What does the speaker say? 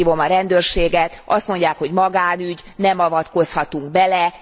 Kihívom a rendőrséget, azt mondják, hogy magánügy, nem avatkozhatunk bele.